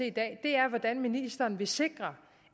i dag er hvordan ministeren vil sikre